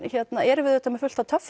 erum við auðvitað með fullt af